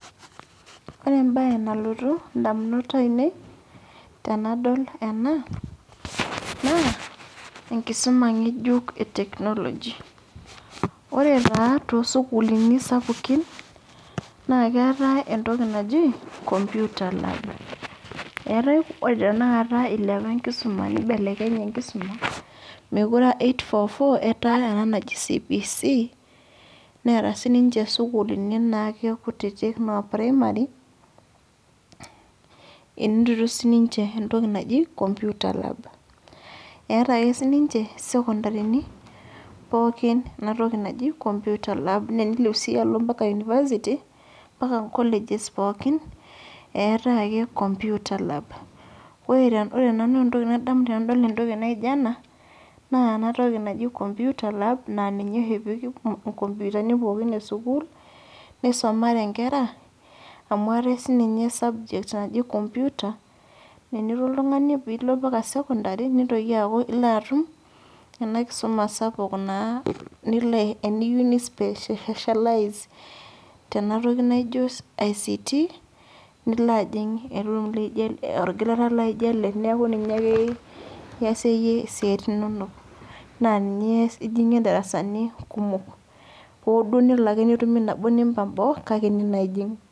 Ore ebae nalotu indamunot ainei, tenadol ena, naa, enkisuma ng'ejuk e technology. Ore taa tosukuulini sapukin, naa keetae entoki naji computer lab. Eetae ore tanakata ilepa enkisuma nibelekenye enkisuma, mekure ah eight-four-four etaa ena naji CBC, neeta sininche sukuulini naake kutitik no primary, enotito sininche entoki naji computer lab. Eeta ake sininche sekondarini, pookin enatoki naji computer lab. Nenilep si alo mpaka University, mpaka nkoleges pookin, eetae ake computer lab. Ore nanu entoki nadamu tenadol entoki naija ena, naa enatoki naji computer lab na ninye oshi epiki inkompitani pookin esukuul, nisamare nkera, amu eetae sininye subject naji computer, nenilo oltung'ani pilo mpaka secondary, nintoki aku ilo atum enakisuma sapuk naa nilo eniyieu ni specialise ,tenatoki naijo ICT, nilo ajing orgilata laijo ele neeku ninye ake iasie yie isiaitin inonok. Na ninye ijing'ie darasani kumok. Hoduo nelo ake netumi nabo nimpang' boo, kake ene naa ijing'.